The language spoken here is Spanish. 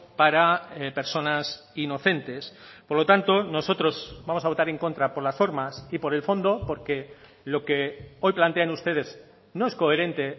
para personas inocentes por lo tanto nosotros vamos a votar en contra por las formas y por el fondo porque lo que hoy plantean ustedes no es coherente